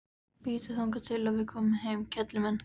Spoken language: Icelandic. Bíddu þangað til við komum heim, kelli mín.